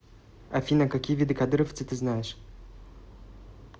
афина какие виды кадыровцы ты знаешь